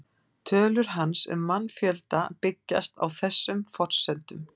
Tölur hans um mannfjölda byggjast á þessum forsendum.